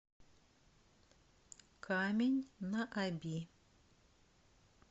камень на оби